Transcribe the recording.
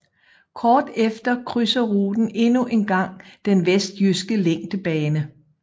Kort efter krydser ruten endnu en gang den vestjyske længdebane